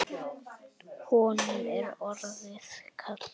Honum er orðið kalt.